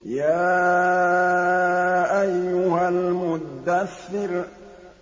يَا أَيُّهَا الْمُدَّثِّرُ